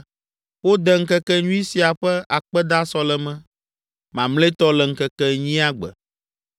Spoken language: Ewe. Wode ŋkekenyui sia ƒe akpedasɔleme mamlɛtɔ le ŋkeke enyia gbe.